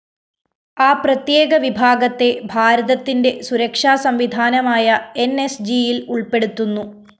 ആ പ്രത്യേക വിഭാഗത്തെ ഭാരതത്തിന്റെ സുരക്ഷാ സംവിധാനമായ എന്‍എസ്ജിയില്‍ ഉള്‍പ്പെടുത്തുന്നു